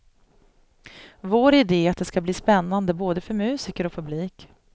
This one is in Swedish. Vår idé är att det ska bli spännande både för musiker och publik.